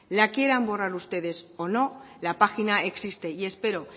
la quieran borrar ustedes o no la página existe y espero